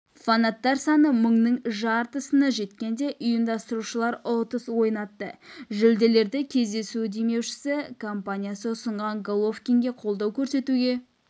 фанаттар саны мыңның жартысына жеткенде ұйымдастырушылар ұтыс ойнатты жүлделерді кездесу демеушісі компаниясы ұсынған головкинге қолдау көрсетуге